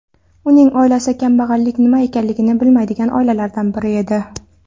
Uning oilasi kambag‘allik nima ekanligini bilmaydigan oilalardan edi.